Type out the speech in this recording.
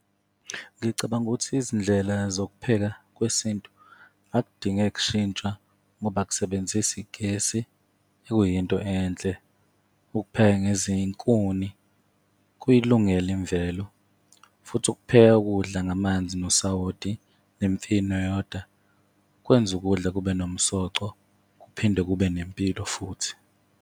Ngicabanga ukuthi izindlela zokupheka kwesintu akudinge kushintsha ngoba kusebenzisi gesi, okuyinto enhle. Ukupheka ngezinkuni kuyilungele imvelo, futhi ukupheka ukudla ngamanzi nosowoti, nemfino yodwa kwenza ukudla kube nomsoco, kuphinde kube nempilo futhi.